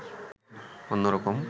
অন্যরকম